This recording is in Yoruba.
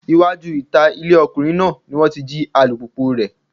Iwájú ìta ilé ọkùnrin náà ni wọ́n ti jí alùpùpùu rẹ̀.